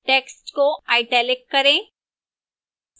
text को italic करें